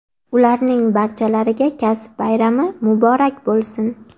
ularning barchalariga kasb bayrami muborak bo‘lsin!.